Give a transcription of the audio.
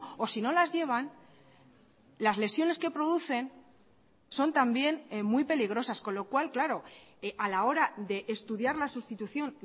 o sino las llevan las lesiones que producen son también muy peligrosas con lo cual claro a la hora de estudiar la sustitución